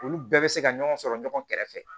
Olu bɛɛ bɛ se ka ɲɔgɔn sɔrɔ ɲɔgɔn kɛrɛfɛ